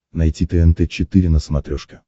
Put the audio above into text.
найти тнт четыре на смотрешке